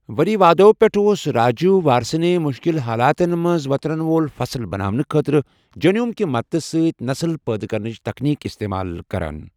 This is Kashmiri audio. ؤری وادو پٮ۪ٹھٕ اوس راجیٖو وارسٕنے مُشکِل حالاتن منٛز وٕطرن وول فصٕل بَناونہٕ خٲطرٕ جیٖنوم کہِ مدتہٕ سۭتۍ نسٕل پٲدٕ کرنٕچ تکنیٖک اِستعمال کَران۔